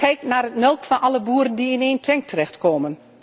Kijk naar de melk van alle boeren die in één tank terechtkomt.